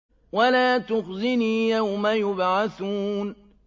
وَلَا تُخْزِنِي يَوْمَ يُبْعَثُونَ